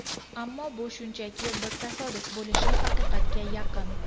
Ammo bu shunchaki bir tasodif bo‘lishi haqiqatga yaqin.